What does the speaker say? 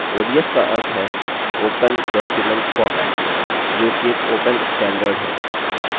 odf का अर्थ है open document format जो कि एक open standard है